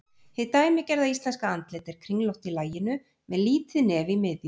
Hið dæmigerða íslenska andlit er kringlótt í laginu með lítið nef í miðju.